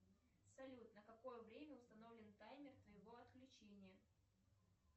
салют на какое время установлен таймер твоего отключения